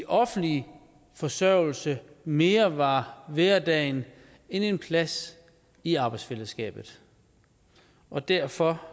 offentlig forsørgelse mere var hverdagen end en plads i arbejdsfællesskabet og derfor